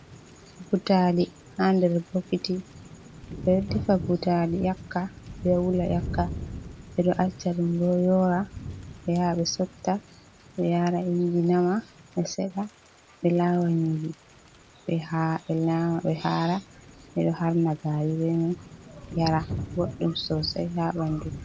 Butaali haa nder bokoti, ɓe ɗo defa butali ƴakka ɓe ɗo wula ƴakka, ɓe ɗo acca ɗum boo yoora, ɓe yaha ɓe sotta ɓe yaara innji nama, ɓe seɗa, ɓe laawa nyiiri, ,ɓe nyaama ɓe haara. ɓe ɗo harna gaari bee may yara, boɗɗum soosay haa ɓanndu.